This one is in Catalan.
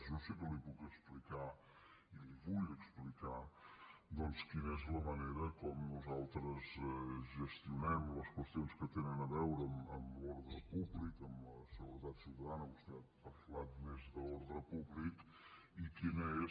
jo sí que li puc explicar i la hi vull explicar doncs quina és la manera com nosaltres gestionem les qüestions que tenen a veure amb l’ordre públic amb la seguretat ciutadana vostè ha parlat més d’ordre públic i quina és